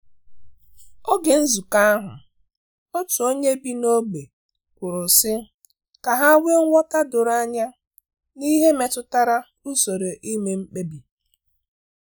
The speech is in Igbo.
Oge nzukọ ahu otu onye bi na ogbe kwuru si ka e nwee nghọta doro anya n’ihe metụtara usoro ime mkpebi.